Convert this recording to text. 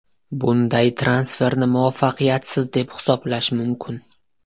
Bunday transferni muvaffaqiyatsiz deb hisoblash mumkin.